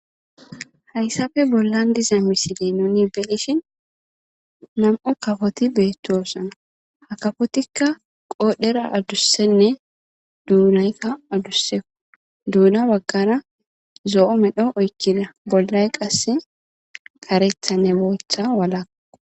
Hayssafe bollan diza misile nuni belishin nam7o kafoti beettosan hakafotikka qoodhera addussenne duunaykka addusseu duuna baggana zo7o medho oykina bollay qasse karetha ne boetha wala.